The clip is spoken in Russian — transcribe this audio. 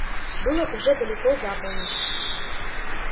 было уже далеко за полночь